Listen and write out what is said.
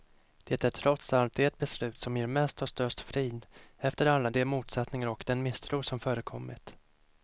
Det är trots allt det beslut som ger mest och störst frid, efter alla de motsättningar och den misstro som förekommit.